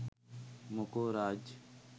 මොකෝ රාජ්.